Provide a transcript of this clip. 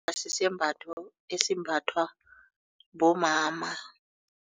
Sisembatho esimbathwa bomama.